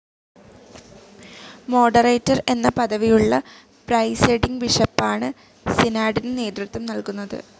Moderator എന്ന പദവിയുള്ള presiding ബിഷപ്പാണ് സിനാഡിന് നേതൃത്വം നൽകുന്നത്.